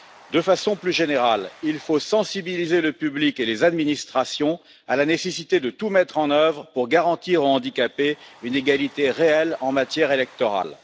De façon plus générale, il faut sensibiliser le public et les administrations à la nécessité de tout mettre en œuvre pour garantir aux handicapés une égalité réelle en matière électorale.